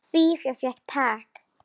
Fía fékk tak.